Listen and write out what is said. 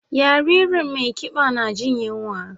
Yaririn mai kiba na jin yunwa.